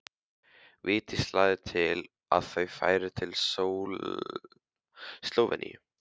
Vigdís lagði til að þau færu til Slóveníu.